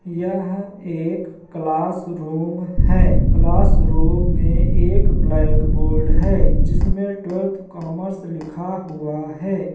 यह एक क्लासरूम है | क्लासरूम में एक ब्लैक्बोर्ड है जिसमे टवेल्वेथ कॉमर्स लिखा हुआ है।